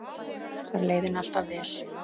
Þar leið henni alltaf vel.